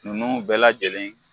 Ninnu bɛɛ lajɛlen